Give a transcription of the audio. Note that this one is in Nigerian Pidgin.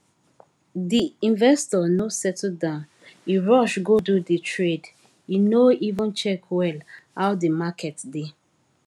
di investor no settle down e rush go do di trade e no even check well how di market dey